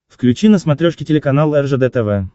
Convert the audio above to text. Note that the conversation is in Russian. включи на смотрешке телеканал ржд тв